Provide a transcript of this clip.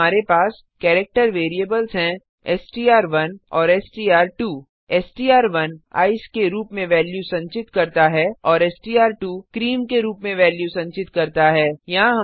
यहाँ हमारे पास केरेक्टर वेरिएबल्स हैं एसटीआर1 औरstr2 एसटीआर1 ईसीई के रूप में वेल्यू संचित करता है और एसटीआर2 क्रीम के रूप में वेल्यू संचित करता है